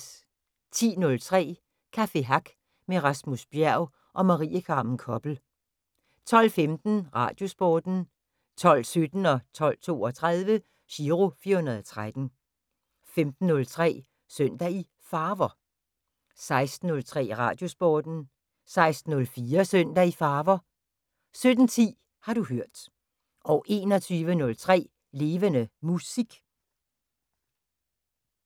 10:03: Café Hack med Rasmus Bjerg og Marie Carmen Koppel 12:15: Radiosporten 12:17: Giro 413 12:32: Giro 413 15:03: Søndag i Farver 16:03: Radiosporten 16:04: Søndag i Farver 17:10: Har du hørt 21:03: Levende Musik